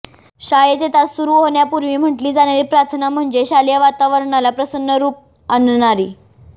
शाळेचे तास सुरू होण्यापूर्वी म्हटली जाणारी प्रार्थना म्हणजे शालेय वातावरणाला प्रसन्न रूप आणणारी